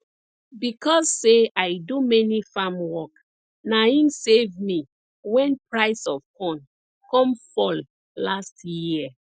becos say i do many farm work na im save me wen price of corn come fall last year